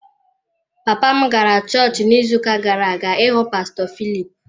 Papa m gara chọọchị n’izuuka gara-aga ịhụ pastọ Philip.